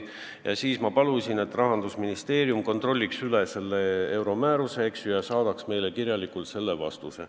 Ja siis ma palusin, et Rahandusministeerium kontrolliks selle euromääruse kehtimist ja saadaks meile kirjalikult vastuse.